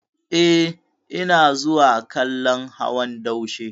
Eh, ina zuwa kallon hawan daushe.